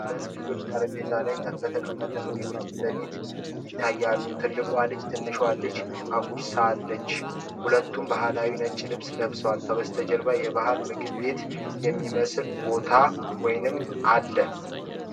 ሁለት ልጆች ጠረጴዛ ላይ በተቀመጠ ምግብ ፊት ይታያሉ። ትልቋ ልጅ ትንሿን ልጅ አጉርሳለች። ሁለቱም ባህላዊ ነጭ ልብስ ለብሰዋል፤ ከበስተጀርባም የባህል ምግብ ቤትን የሚመስል ቦታ አለ።